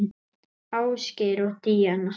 Ásgeir og Díana.